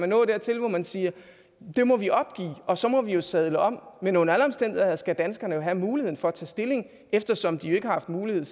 nå dertil hvor man siger at det må vi opgive og så må vi vi sadle om men under alle omstændigheder skal danskerne have mulighed for at tage stilling eftersom de ikke har haft mulighed